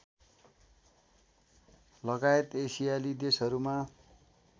लगायत एसियाली देशहरूमा